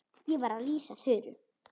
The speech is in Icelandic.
Ég var að lýsa Þuru.